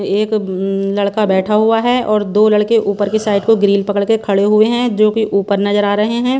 एक अम लड़का बैठा हुआ हैं और दो लड़के ऊपर की साइड को ग्रिल पकड़ के खड़े हुए हैं जोकि ऊपर नजर आ रहें हैं।